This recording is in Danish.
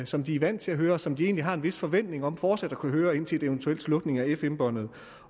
som de er vant til at høre og som de egentlig har en vis forventning om fortsat at kunne høre indtil en eventuel slukning af fm båndet